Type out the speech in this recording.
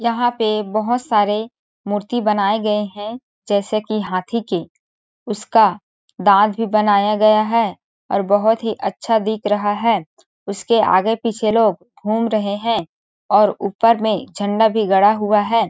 यहां पे बहुत सारे मूर्ति बनाए गए हैं जैसे कि हाथी के उसका दांत भी बनाया गया है और बहुत ही अच्छा दिख रहा है उसके आगे पीछे लोग घूम रहे हैं और ऊपर में झंडा भी गड़ा हुआ है ।